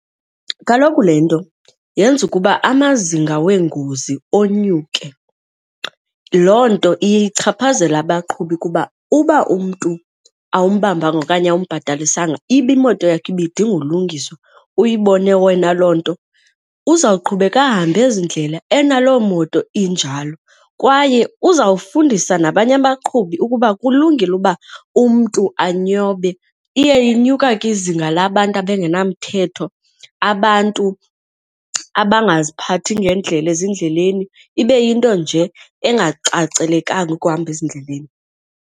Kaloku le nto yenza ukuba amazinga weengozi onyuke. Loo nto iye ichaphazele abaqhubi kuba uba umntu awumbambanga okanye awumbhatalisanga ibe imoto yakho ibidinga ulungiswa uyibone wena loo nto, uzawuqhubeka ahambe ezi ndlela enalo moto injalo kwaye uzawufundisa nabanye abaqhubi ukuba kulungile ukuba umntu anyobe. Iye inyuka ke izinga labantu abangenamthetho, abantu abangaziphathi ngendlela ezindleleni, ibe yinto nje engacacelekanga ukuhamba ezindleleni.